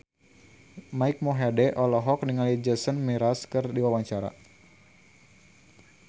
Mike Mohede olohok ningali Jason Mraz keur diwawancara